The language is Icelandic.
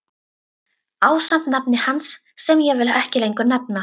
Ásamt nafni hans sem ég vil ekki lengur nefna.